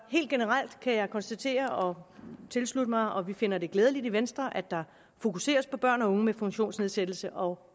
helt generelt kan jeg konstatere og tilslutte mig vi finder det glædeligt i venstre at der fokuseres på børn og unge med funktionsnedsættelse og